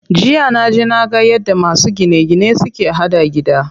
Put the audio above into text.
Jiya naje naga yadda masu gine gine suke haɗa gida.